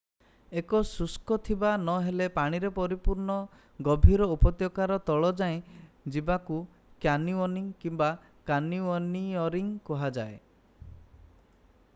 ଏକ ଶୁଷ୍କ ଥିବା ନହେଲେ ପାଣିରେ ପରିପୂର୍ଣ୍ଣ ଗଭୀର ଉପତ୍ୟକାର ତଳ ଯାଏଁ ଯିବାକୁ କ୍ୟାନିଓନିଂ କିମ୍ବା: କ୍ୟାନିଓନିୟରିଂ କୁହାଯାଏ।